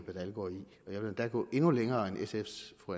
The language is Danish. endda gå endnu længere end sf’s fru